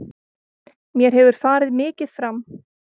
Mér hefur farið mikið fram.